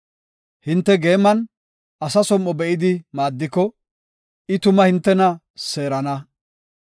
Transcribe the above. Hinte geeman asa som7o be7idi maaddiko, I tuma hintena seerana.